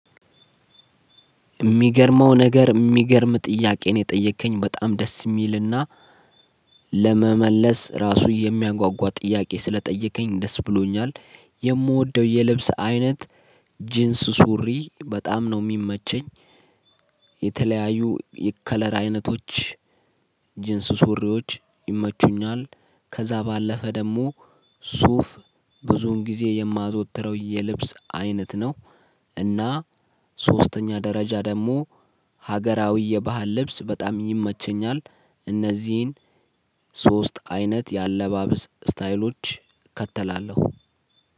የሚገርመው ነገር የሚገርም ጥያቄ ነው የጠየከኝ በጣም ደስ የሚልና ለመመለስ ራሱ የሚያጓጓ ጥያቄ ስለጠየከኝ ደስ ብሎኛል። የምወደው የልብስ አይነት ጂንስ ሱሪ በጣም ነው የሚመቸኝ። የተለያዩ የከለር አይነቶች ጂንስ ሱሪዎች ይመቹኛል። ከዛ ባለፈ ደግሞ ሱፍ ብዙውን ጊዜ የማዘወትረው የልብስ አይነት ነው። እና። ሶስተኛ ደረጃ ደግሞ ሀገራዊ የባህል ልብስ በጣም ይመቸኛል። እነዚህን ሶስት አይነት የአለባበስ ስታይሎች እከተላለሁ